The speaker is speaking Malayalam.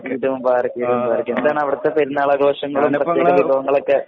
ഈദ് മുബാറക്ക് ഈദ് മുബാറക്ക് എന്താണ് അവിടുത്തെ പെരുന്നാൾ ആഘോഷങ്ങൾ. പെരുന്നാൾ വിഭവങ്ങളൊക്കെ